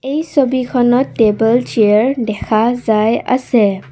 এই ছবিখনত table chair দেখা যায় আছে।